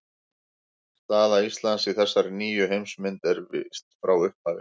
Staða Íslands í þessari nýju heimsmynd var óviss frá upphafi.